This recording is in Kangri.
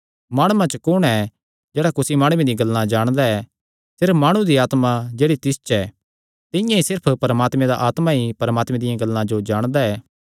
माणुआं च कुण ऐ जेह्ड़ा कुसी माणुये दियां गल्लां जाणदा ऐ सिर्फ माणु दी आत्मा जेह्ड़ी तिस च ऐ तिंआं ई सिर्फ परमात्मे दा आत्मा ई परमात्मे दियां गल्लां जो जाणदा ऐ